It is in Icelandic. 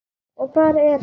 Og hvar er hann?